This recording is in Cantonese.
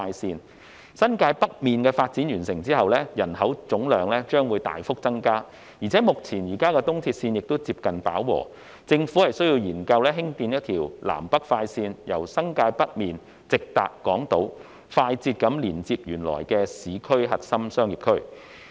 在新界北完成發展後，其總人口將大幅增加，加上現有的東鐵綫也接近飽和，政府需要研究興建一條南北快綫，由新界北直達港島，快捷地連接原有的市區核心商業區。